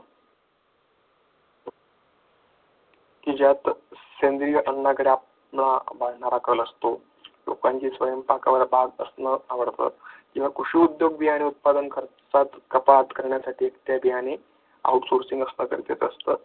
की ज्यात सेंद्रिय असतो लोकांची या कृषी उत्पादन बियाणे खर्चात कपात करण्यासाठी ते बियाणे out sourcing असतात.